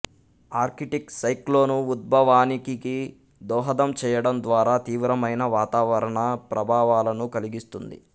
Arctic cyclone ఉద్భవానికికి దోహదం చేయడం ద్వారా తీవ్రమైన వాతావరణ ప్రభావాలను కలిగిస్తుంది